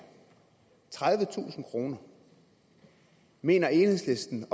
tredivetusind kroner mener enhedslisten